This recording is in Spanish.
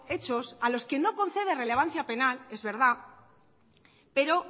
hechos a los que no concede relevancia penal es verdad pero